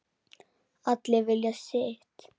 Allir vilja sitt